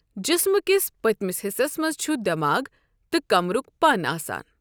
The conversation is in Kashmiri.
جسمہٕ کِس پٔتمِس حِصَس منٛز چھُ دٮ۪ماغ تہٕ کمبرُک پَن آسان۔